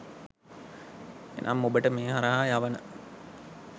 එනම් ඔබට මේ හරහා යවන